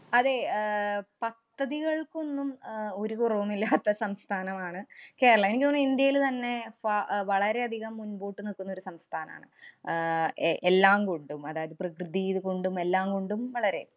അതേ, അഹ് പദ്ധതികള്‍ക്കൊന്നും അഹ് ഒരു കുറവുമില്ലാത്ത സംസ്ഥാനമാണ്‌ കേരളം. എനിക്ക് തോന്നണു ഇന്ത്യേല് തന്നെ വ~ അഹ് വളരെയധികം മുമ്പോട്ട്‌ നില്‍ക്കുന്ന ഒരു സംസ്ഥാനാണ് ആഹ് എ~ എല്ലാം കൊണ്ടും, അതായത് പ്രകൃതി ഇത് കൊണ്ടും എല്ലാം കൊണ്ടും വളരെ